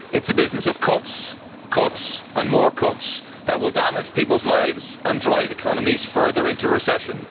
It is the business of cuts, cuts and more cuts that will damage people's lives and drive economies further into recession.